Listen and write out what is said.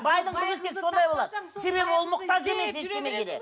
байдың қызы тек сондай болады себебі ол мұқтаж емес